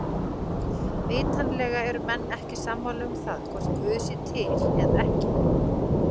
Vitanlega eru menn ekki sammála um það hvort guð sé til eða ekki.